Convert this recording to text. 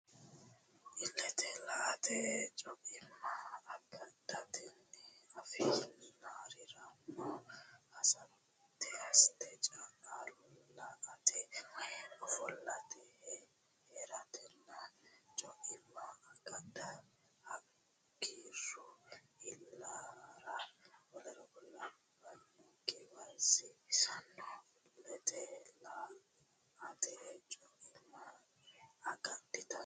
Illete la ate co imma agadhatenni afi nannirenna hosate caa late woy ofollate hee ratenna co imma agadha hooggiro iillara w k l giwisannoho Illete la ate co imma agadhatenni.